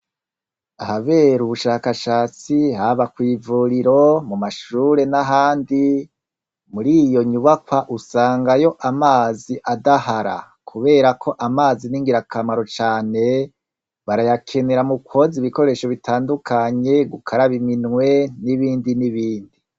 Ahabera ubushakashatsi haba kw'ivuriro, mu mashure n'ahandi, muri iyo nyubakwa usangayo amazi adahara kubera ko amazi ni ngirakamaro cane, barayakenera mu kwoza ibikoresho bitandukanye, gukaraba iminwe n'ibindi n'ibindi.